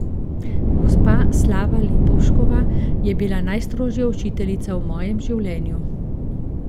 Gospa Slava Lipovškova je bila najstrožja učiteljica v mojem življenju.